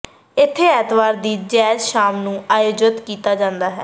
ਇੱਥੇ ਐਤਵਾਰ ਦੀ ਜੈਜ਼ ਸ਼ਾਮ ਨੂੰ ਆਯੋਜਤ ਕੀਤਾ ਜਾਂਦਾ ਹੈ